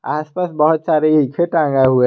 आस पास बहोत सारे ईखे टांगे हुए--